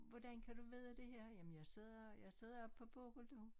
Hvordan kan du vide det her jamen jeg sidder jeg sidder oppe på Bokul du